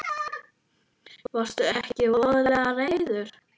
Varðstu ekki voðalega reiður?